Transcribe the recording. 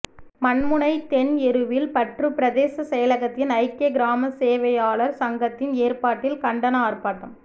மண்முனை தென் எருவில் பற்று பிரதேச செயலகத்தின் ஐக்கிய கிராம சேவையாளர் சங்கத்தின் ஏற்பாட்டில் கண்டன ஆர்ப்பாட்டம்